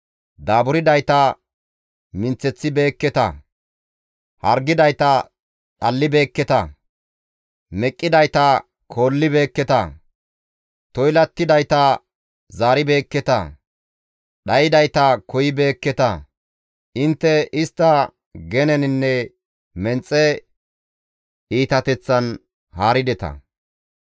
Daaburdayta minththeththibeeketa; hargidayta dhallibeekketa; meqqidayta koolibeekketa; toylattidayta zaaribeekketa; dhaydayta koyibeekketa. Intte istta geneninne menxe iitateththan haarideta.